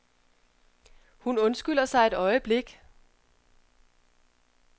Hun undskylder sig et øjeblik.